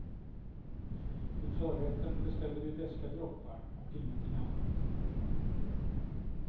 Till förrätten beställde vi beska droppar och ingenting annat.